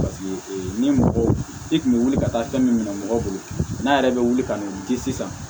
ni mɔgɔ i kun bɛ wuli ka taa fɛn min minɛ mɔgɔ bolo n'a yɛrɛ bɛ wuli ka n'o di sisan